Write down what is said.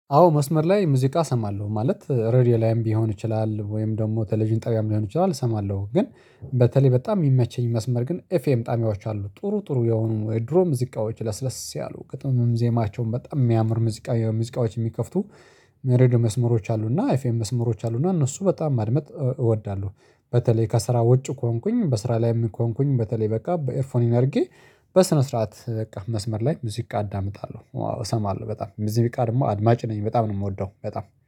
አዎ መስመር ላይ ሙዚቃ እሰማለሁ ማለት ረድዮ ላይም ቢሆን ይችላል ወይም ደግሞ ቴሌቪዥን ጣቢያም ሊሆን ይችላል እሰማለሁ። ግን በተለይ በጣም የሚመቸኝ መስመር ግን ኤፍኤም ጣቢያዎች አሉ ጥሩ ጥሩ የሆኑ የድሮ ሙዚቃዎች ለስለስ ያሉ ግጥም ዜማቸውም በጣም የሚያምር ሙዚቃ ሙዚቃዎች የሚከፍቱ የሬዲዮ መስመሮች አሉ ኤፌም መስመሮች አሉና እነሱ በጣም ማድመጥ እወዳለሁ። በተለይ ከስራ ወጪ ከሆንኩኝ በስራ ላይ ከሆንኩኝ በተለይ በቃ በኤርፎን አርጌ በስነ ስርዓት በቃ መስመር ላይ ሙዚቃ አዳምጣለሁ። አዎ እሰማለሁ በጣም ሙዚቃ ደግሞ አድማጭ ነኝ በጣም ነው የምወደው በጣም